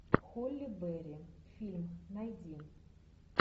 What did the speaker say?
холли берри фильм найди